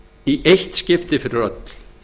í eitt skipti fyrir öll